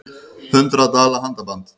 Hundrað dala handaband